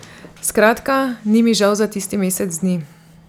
Skratka, ni mi žal za tisti mesec dni.